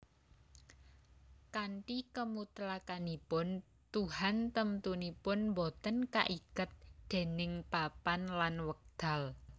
Kanthi kemutlakanipun tuhan temtunipun boten kaiket déning papan lan wekdal